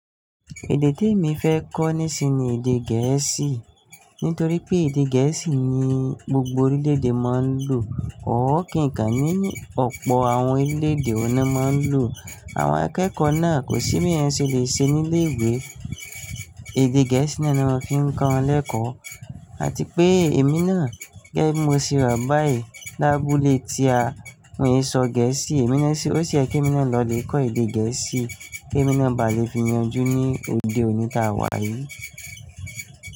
Èdè tí èmi fẹ́ kọ́ nísinsìnyí ni èdè gẹ̀ẹ́sì. Nítorí pé èdè gẹ̀ẹ́sì ni gbogbo orílédé máa ń lò ó kí nìkan ní ọ̀pọ̀ àwọn orílédé ọ̀nà máa ń lò. Àwọn akẹ́kọ̀ọ́ náà kò sí mí ẹni ṣe lè ṣe ní ilé ìwé. Èdè gẹ̀ẹ́sì ni wọ́n fi ń kọ wọn lẹ́kọ̀ọ́. Àti pé èmi náà gẹ́gẹ́ bí mo ṣe rà báyìí lábúlé tí a kò lè sọ gẹ̀ẹ́sì, èmi ní ṣe ó ṣe ẹ́ kí èmi náà lọ lè kọ́ èdè gẹ̀ẹ́sì kí èmi náà bá lè fi yanjú ní òde òní táa wà yìí.